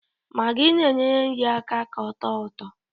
Magị na-enyere nri aka ka ọ tọọ ụtọ